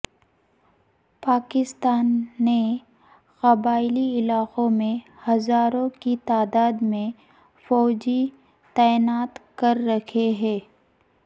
پاکستان نے قبائلی علاقوں میں ہزاروں کی تعداد میں فوجی تعینات کر رکھے ہیں